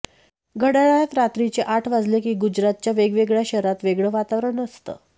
घड्याळात रात्रीचे आठ वाजले की गुजरातच्या वेगवेगळ्या शहरात वेगळं वातावरण असतं